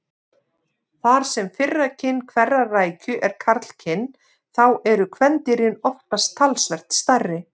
Þar sem fyrra kyn hverrar rækju er karlkyn þá eru kvendýrin oftast talsvert stærri.